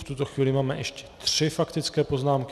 V tuto chvíli máme ještě tři faktické poznámky.